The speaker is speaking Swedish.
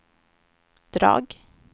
drag